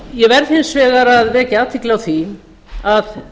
ég verð hins vegar að vekja athygli á því að